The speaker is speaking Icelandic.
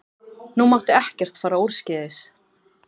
Nú mátti ekkert fara úrskeiðis.